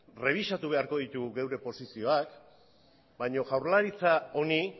errebisatu beharko ditugu geure posizioak baina jaurlaritza honi